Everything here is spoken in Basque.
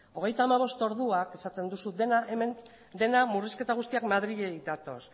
hogeita hamabost orduan esaten duzu dena hemen dena murrizketa guztiak madriletik datoz